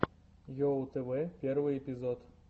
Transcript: уоу тв первый эпизод